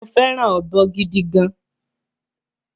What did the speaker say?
Mo féràn ọ̀bọ gidi gan